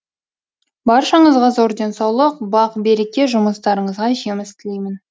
баршаңызға зор денсаулық бақ береке жұмыстарыңызға жеміс тілеймін